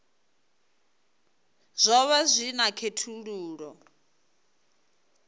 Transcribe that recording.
zwo vha zwi na khethululoe